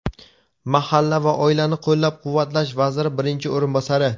Mahalla va oilani qo‘llab-quvvatlash vaziri birinchi o‘rinbosari:.